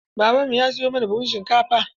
Babanmu ya sayo mana buhun shinkafa.